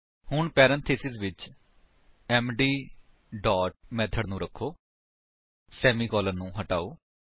ਹੁਣ ਪੈਰੇਂਥੀਸਿਸ ਵਿੱਚ MD dot method ਨੂੰ ਰੱਖੋ ਸੇਮੀਕਾਲਨ ਨੂੰ ਹਟਾਓ